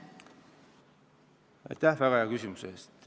Kas te võite siin praegu kinnitada, et seda tehakse?